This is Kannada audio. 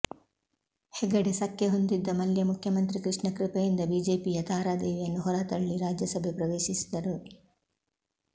ಹೆಗಡೆ ಸಖ್ಯಹೊಂದಿದ್ದ ಮಲ್ಯ ಮುಖ್ಯಮಂತ್ರಿ ಕೃಷ್ಣ ಕೃಪೆಯಿಂದ ಬಿಜೆಪಿಯ ತಾರಾದೇವಿಯನ್ನು ಹೊರತಳ್ಳಿ ರಾಜ್ಯಸಭೆ ಪ್ರವೇಶಿಸಿದರು